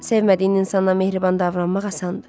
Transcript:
Sevmadığın insanla mehriban davranmaq asandır.